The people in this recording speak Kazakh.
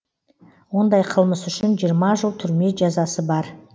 ондай қылмыс үшін жиырма жыл түрме жазасы бар